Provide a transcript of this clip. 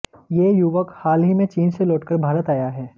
ये युवक हाल ही में चीन से लौटकर भारत आया है